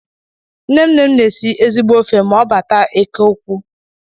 Nnenne m n'esi ezigbo ofe ma ọ bátá eke ukwu.